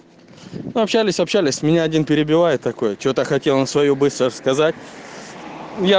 общались общались меня один перебивает такое что-то хотел на свою быстро сказать я